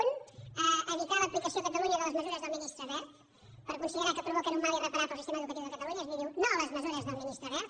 un evitar l’aplicació a catalunya de les mesures del ministre wert per considerar que provoquen un mal irreparable al sistema educatiu de catalunya és a dir diu no a les mesures del ministre wert